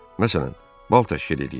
Məsələn, bal təşkil eləyin.